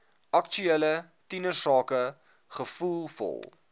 aktuele tienersake gevoelvol